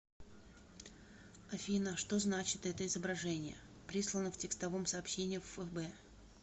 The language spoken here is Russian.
афина что значит это изображение прислано в текстовом сообщении в фб